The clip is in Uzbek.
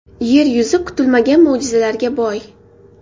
Yer yuzi kutilmagan mo‘jizalarga boy.